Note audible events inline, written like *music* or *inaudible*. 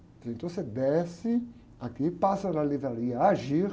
Ele falou, você desce aqui, passa na livraria, *unintelligible*